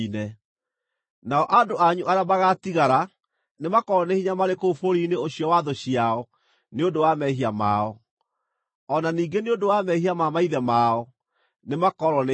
Nao andũ anyu arĩa magaatigara nĩmakoorwo nĩ hinya marĩ kũu bũrũri-inĩ ũcio wa thũ ciao nĩ ũndũ wa mehia mao; o na ningĩ nĩ ũndũ wa mehia ma maithe mao, nĩ makoorwo nĩ hinya.